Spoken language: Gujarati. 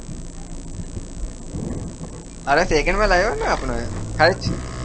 અરે second માં લઇ લોને આપણે